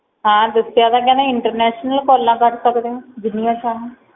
ਹਾਂ ਦੱਸਿਆ ਤਾਂ ਹੇਗਾ interntional ਕਾਲਾ ਕਰ ਸਕਦੇ ਹੋ ਜਿੰਨੀਆਂ ਸਨ Call